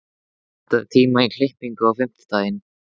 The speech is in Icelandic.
Hafbjörg, pantaðu tíma í klippingu á fimmtudaginn.